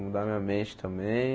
Mudar minha mente também.